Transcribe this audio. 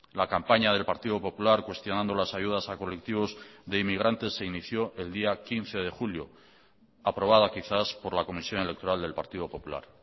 la campaña del partido popular cuestionando las ayudas a colectivos de inmigrantes se inició el día quince de julio aprobada quizás por la comisión electoral del partido popular